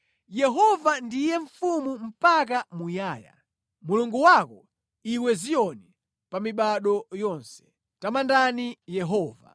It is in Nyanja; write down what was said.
Yehova ndiye Mfumu mpaka muyaya, Mulungu wako iwe Ziyoni, pa mibado yonse. Tamandani Yehova.